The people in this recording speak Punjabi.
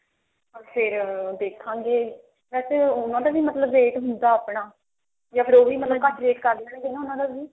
ਫ਼ੇਰ ਦੇਖਾਂਗੇ ਵੇਸੇ ਉਹਨਾ ਦਾ ਵੀ ਮਤਲਬ ਰੇਟ ਹੁੰਦਾ ਆਪਣਾ ਯਾ ਫ਼ੇਰ ਉਹ ਵੀ ਰੇਟ ਕਰ ਲੈਣਗੇ ਉਹਨਾ ਦਾ ਵੀ